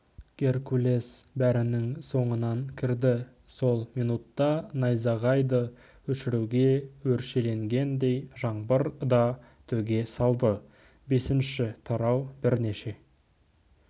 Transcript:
геркулес бәрінің соңынан кірді сол минутта найзағайды өшіруге өршеленгендей жаңбыр да төге салды бесінші тарау бірнеше